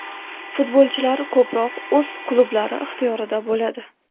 Futbolchilar ko‘proq o‘z klublari ixtiyorida bo‘ladi.